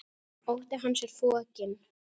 Ótti hans er fokinn.